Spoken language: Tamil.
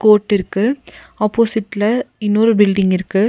கோர்ட்டிற்கு ஆப்போசிட்ல இன்னொரு பில்டிங் இருக்கு.